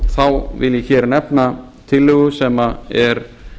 þá vil ég nefna tillögu sem er